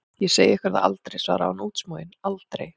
Ég segi ykkur það aldrei, svarði hún útsmogin, aldrei!